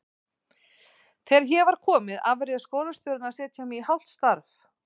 Þegar hér var komið afréð skólastjórnin að setja mig í hálft starf.